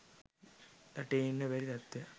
රටේ ඉන්න බැරි තත්වයක්